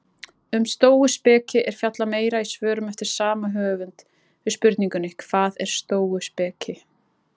Um stóuspeki er fjallað meira í svörum eftir sama höfund við spurningunum Hvað er stóuspeki?